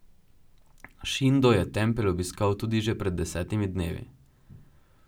Šindo je tempelj obiskal tudi že pred desetimi dnevi.